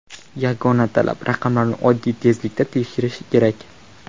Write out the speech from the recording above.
Yagona talab raqamlarni odatiy tezlikda kiritish kerak.